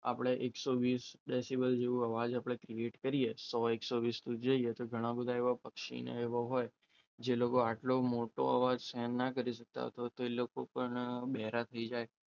આપણે એકસો વીસ ડેસીબલ જેવો અવાજ ક્રિએટ કરીએ તો સો, એકસો વીસ જઈએ તો ઘણા બધા એવા પક્ષીઓ ને એવું હોય જે લોકો આટલો મોટો અવાજ સહન ના કરી શકતા હોય. તો એ લોકો પણ બહેરા થઈ જાય.